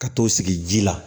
Ka t'o sigi ji la